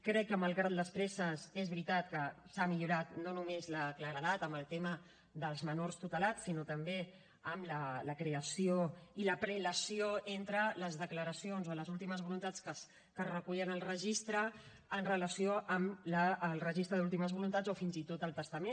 crec que malgrat les presses és veritat que s’ha millorat no només la claredat amb el tema dels menors tutelats sinó també amb la creació i la prelació entre les declaracions o les últimes voluntats que es recullen al registre en relació amb el registre d’últimes voluntats o fins i tot el testament